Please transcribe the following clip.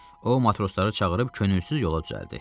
O matrosları çağırıb könülsüz yola düzəldi.